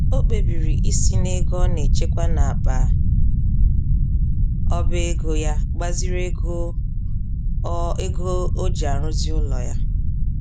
O kpebiri isi n'ego ọ nechekwa n'akpa ọbego yá gbaziri ego o ego o ji arụzi ụlọ ya